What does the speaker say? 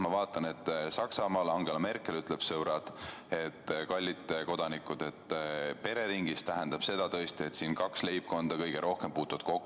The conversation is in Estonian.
Saksamaal Angela Merkel ütles: sõbrad, kallid kodanikud, "pereringis" tähendab seda, et kaks leibkonda kõige rohkem puutuvad kokku.